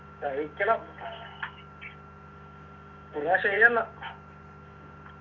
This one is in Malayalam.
കഴിക്കണം എന്ന ശരിയെന്നാ